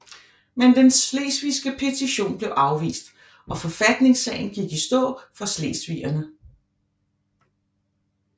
Men den slesvigske petition blev afvist og forfatningssagen gik i stå for slesvigerne